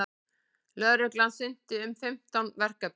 Lögreglan sinnti um fimmtán verkefnum